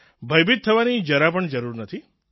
ભયભીત થવાની જરા પણ જરૂર નથી